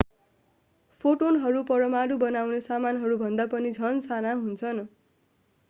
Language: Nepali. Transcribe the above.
फोटोनहरू परमाणु बनाउने सामानहरू भन्दा पनि झन साना हुन्छन्